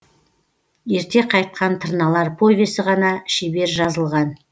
ерте қайтқан тырналар повесі ғана шебер жазылған